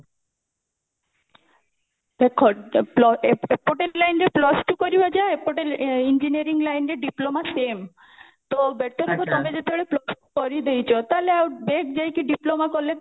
ଦେଖ ପ ଏ ଏପଟେ line ରେ plus two କରିବା ଯାହା ଏପଟେ engineering line ରେ diploma same ତ better ହବ ତମେ ଯେତେବେଳେ plus two କରିଦେଇଛ ତାହେଲେ ଆଉ back ଯାଇକି diploma କଲେ